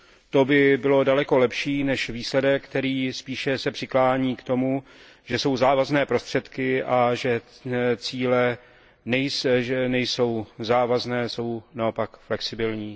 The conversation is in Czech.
To by bylo daleko lepší než výsledek, který se spíše přiklání k tomu, že jsou závazné prostředky a že cíle nejsou závazné, jsou naopak flexibilní.